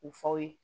U faw ye